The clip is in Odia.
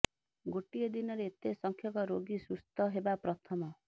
ଗୋଟିଏ ଦିନରେ ଏତେ ସଂଖ୍ୟକ ରୋଗୀ ସୁସ୍ଥ ହେବା ପ୍ରଥମ